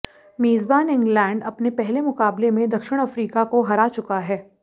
मेजबान इंग्लैंड अपने पहले मुकाबले में दक्षिण अफ्रिका को हरा चुका है